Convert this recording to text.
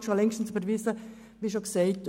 Dies ist schon längstens bekannt und überwiesen.